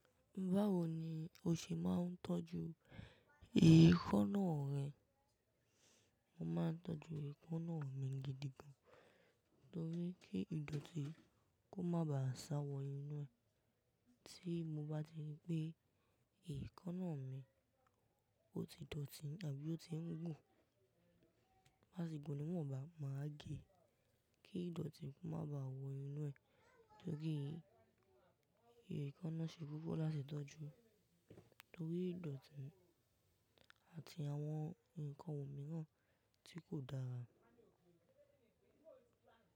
Báwo ni o ṣe máa ń tọ́jú ekana rẹ? Mo máa ń tọ́jú ekana mi gidi gan, torí kí idọ̀tí kó má bá ṣáwọ inú ẹ̀. Tí mo bá ti gbé ekana náà mì, ó ti dọ̀tí àbí ó ti ń gùn, máṣe gùn ni mò bá máa gé e kí idọ̀tí kó má bá wọ inú ẹ̀. Torí ekaná ṣe gbígbó láti tọ́jú torí idọ̀tí àti àwọn nǹkan òmíràn tí kò dára.